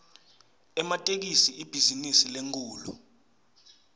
ematekisi ibhizinisi lenkhulu